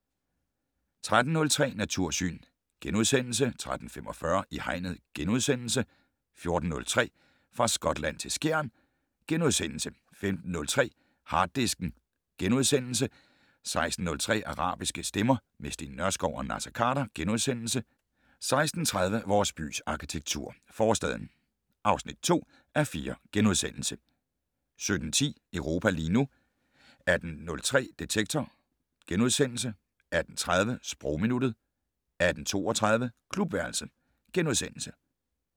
13:03: Natursyn * 13:45: I Hegnet * 14:03: Fra Skotland til Skjern * 15:03: Harddisken * 16:03: Arabiske stemmer - med Steen Nørskov og Naser Khader * 16:30: Vores bys arkitektur - Forstaden (2:4)* 17:10: Europa lige nu 18:03: Detektor * 18:30: Sprogminuttet 18:32: Klubværelset *